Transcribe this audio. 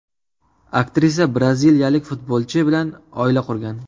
Aktrisa braziliyalik futbolchi bilan oila qurgan.